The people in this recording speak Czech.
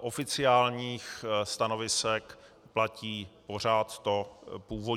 oficiálních stanovisek platí pořád to původní.